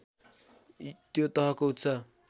त्यो तहको उच्च